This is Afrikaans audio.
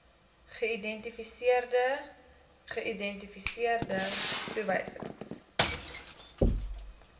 geïdentifiseerde geïdentifiseerde toewysings